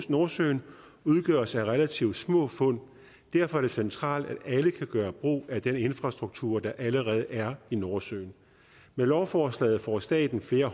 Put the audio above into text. nordsøen udgøres af relativt små fund derfor er det centralt at alle kan gøre brug af den infrastruktur der allerede er i nordsøen med lovforslaget får staten flere